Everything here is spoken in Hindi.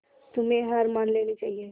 तुम्हें हार मान लेनी चाहियें